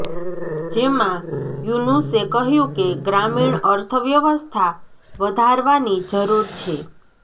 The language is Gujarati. જેમાં યુનુસે કહ્યું કે ગ્રામીણ અર્થવ્યવસ્થા વધારવાની જરુર છે